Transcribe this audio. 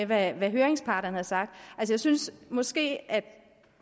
hvad høringsparterne har sagt jeg synes måske at